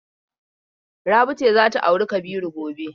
Rabi ce za ta auri Kabiru gobe.